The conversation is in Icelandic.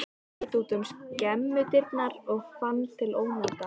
Hún leit út um skemmudyrnar og fann til ónota.